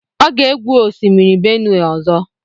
Ọ ga-egwu osimiri Benue ọzọ.